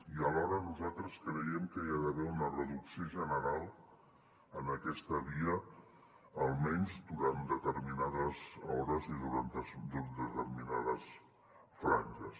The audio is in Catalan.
i alhora nosaltres creiem que hi ha d’haver una reducció general en aquesta via almenys durant determinades hores i durant determinades franges